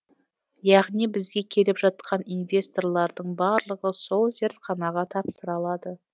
яғни бізге келіп жатқан инвесторлардың барлығы сол зертханаға тапсыра алады